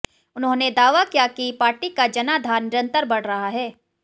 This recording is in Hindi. उन्होंने दावा किया कि पार्टी का जनाधार निरन्तर बढ रहा है